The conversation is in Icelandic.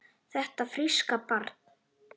Þetta fríska barn?